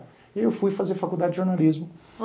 E aí eu fui fazer faculdade de jornalismo.